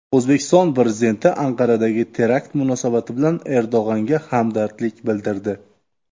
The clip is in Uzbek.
O‘zbekiston Prezidenti Anqaradagi terakt munosabati bilan Erdo‘g‘onga hamdardlik bildirdi.